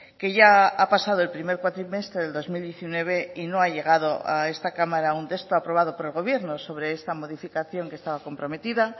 que ya ha pasado el primer cuatrimestre del dos mil diecinueve y no ha llegado a esta cámara un texto aprobado por el gobierno sobre esta modificación que estaba comprometida